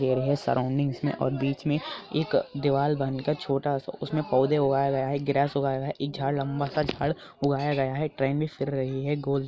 यह सराउंडिंग्स में बीच में दीवाल बन कि बीच में छोटा सा उसने पीढ़े उगाया गया है ग्रास उगाया है ये झाड़ लंबा सा झाड़ हुआ हे और ट्रैन में फिर रहा हे |